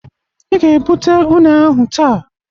I ga-ebụte ụne ahụ taa.